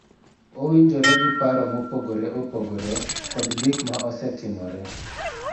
Owinjore gi paro mopogore opogore kod gik ma osetimore